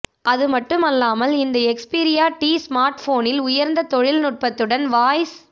அது மட்டும் அல்லாமல் இந்த எக்ஸ்பீரியா டி ஸ்மார்ட்போனில் உயர்ந்த தொழில் நுட்பத்துடன் வாய்ஸ்